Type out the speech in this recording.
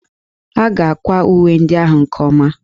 A ga-akwa uwe ndị ahụ nke ọma